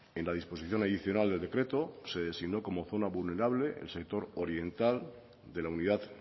en la disposición adicional del decreto se designó como zona vulnerable el sector oriental de la unidad